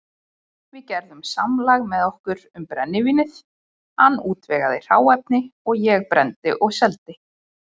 Við gerðum samlag með okkur um brennivínið, hann útvegaði hráefni, ég brenndi og seldi.